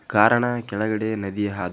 ಕಾರಣ ಕೆಳಗಡೆ ನದಿ ಹಾದಿ ಹೋಗಿರುವುದರಿಂದ.--